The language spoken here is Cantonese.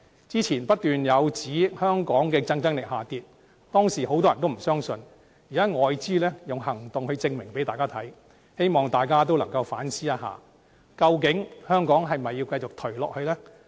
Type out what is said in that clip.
之前不斷有研究指香港的競爭力下跌，當時很多人也不相信，現在外資用行動向大家證明，希望大家能夠反思一下，究竟香港是否要繼續頹下去呢？